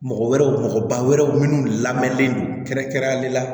Mɔgɔ wɛrɛw mɔgɔba wɛrɛw minnu lamɛnnen don kɛrɛnkɛrɛnlen la